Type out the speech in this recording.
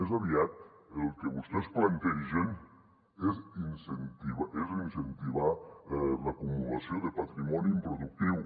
més aviat el que vostès plantegen és incentivar l’acumulació de patrimoni improductiu